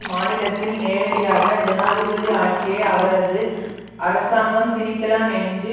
மாநிலத்தில் நேரடியாக ஜனாதிபதி ஆட்சியை அவரது அரசாங்கம் திணிக்கலாம் என்று